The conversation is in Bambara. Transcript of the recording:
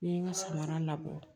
N ye n ka samara labɔ